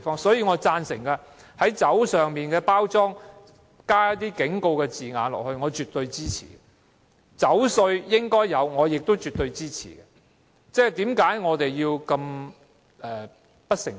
因此，我贊成在酒精飲品的包裝上加上警告字句，這做法我絕對支持，也絕對支持徵收酒稅。